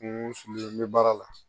N ko n bɛ baara la